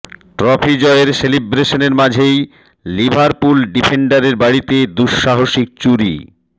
trophy জয়ের সেলিব্রেশনের মাঝেই লিভারপুল ডিফেন্ডারের বাড়িতে দুঃসাহসিক চুরি